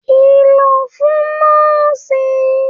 Kí lọ̀ fún nọ́ọ̀sì yìí!